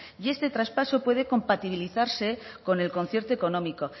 y este traspaso puede compatibilizarse con el concierto económico